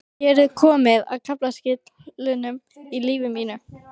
Hér er komið að kaflaskilum í lífi mínu.